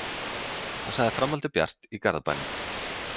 Hann sagði framhaldið bjart í Garðabænum